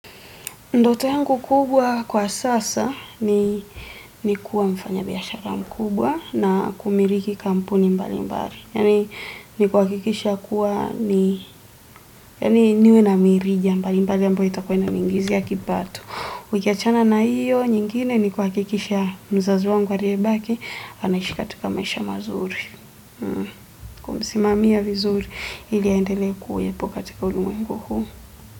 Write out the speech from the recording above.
Ndote yangu kubwa kwa sasa ni kuwa mfanya biyashara mkubwa na kumiliki kampuni mbali mbali. Yani ni kuwakikisha kuwa ni niwe na mirija mbali mbali ambayo itakuwa inaniingizia kipato. Nikiachana na iyo, nyingine ni kuwakikisha mzazi wangu ariyebaki, anaishi katika maisha mazuri. Kumsimamia vizuri, ili aendelee kuwepo katika ulimwengu huu.